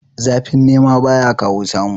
Zafin nema baya kawo samu